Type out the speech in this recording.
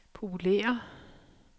populære